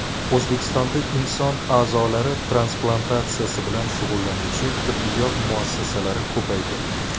O‘zbekistonda inson a’zolari transplantatsiyasi bilan shug‘ullanuvchi tibbiyot muassasalari ko‘paydi.